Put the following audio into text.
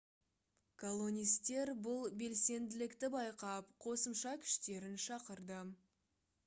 колонистер бұл белсенділікті байқап қосымша күштерін шақырды